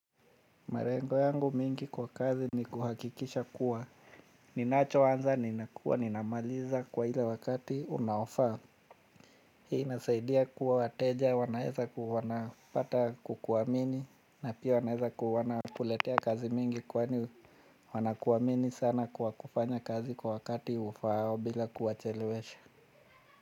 Malengo yangu mingi kwa kazi ni kuhakikisha kuwa. Ninacho anza, ninakua, ninamaliza kwa ile wakati unaofa. Hii nasaidia kuwa wateja, wanaeza ku wana pata kukuamini. Na pia wanaeza wanakuletea kazi mingi kwani wana ku amini sana kwa kufanya kazi kwa wakati ufaao bila kuwa chelewesha.